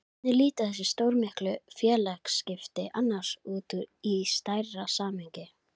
Hver ert þú? spurði mjúk rödd í dyragættinni.